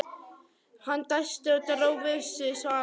Hann dæsti og dró við sig svarið.